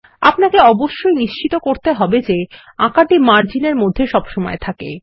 আপনাকে অবশ্যই নিশ্চিত করতে হবে যে আঁকাটি মার্জিন এর মধ্যে সবসময় থাকে